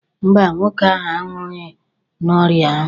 Mba, nwoke ahụ anwụghị n'ọrịa ahụ.